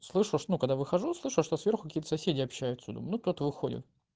слышишь ну когда выхожу все что сверху соседи общаются минут выходим